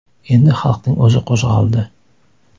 Endi xalqning o‘zi qo‘zg‘aldi.